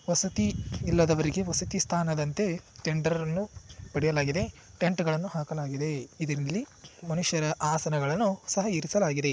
ವಸತಿ ಇಲ್ಲದವರಿಗೆ ವಸತಿ ಸ್ಥಾನದಂತೆ ಟೆಂಡರ್ ಅನ್ನು ಪಡೆಯಲಾಗಿದೆ ಟೆಂಟ್ ಗಳನ್ನು ಹಾಕಲಾಗಿದೆ ಇದರಲ್ಲಿ ಮನುಷ್ಯರ ಆಸನಗಳನ್ನು ಸಹ ಇರಿಸಲಾಗಿದೆ.